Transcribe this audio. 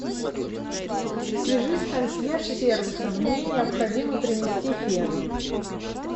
свяжись с консьерж сервисом мне необходимо принести фен